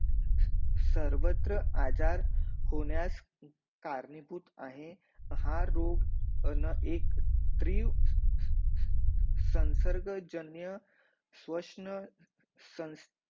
सर्वत्र आजार होण्यास कारणीपूत आहे हा रोग ना एक त्रिव संसर्ग जन्य स्वशन संस